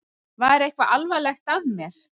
Var eitthvað alvarlegt að mér?